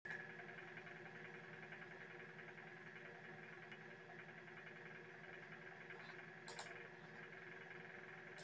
Við skellum okkur þá bara á Hjálpræðisherinn sagði Frímann við